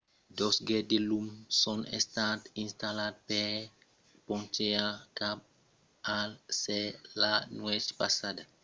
dos gets de lum son estats installats per ponchejar cap al cèl la nuèch passada